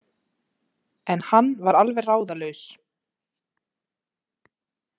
En hann var alveg ráðalaus.